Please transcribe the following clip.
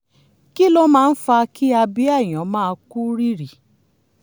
kí ló máa ń fa kí abíyá èèyàn máa kú rírì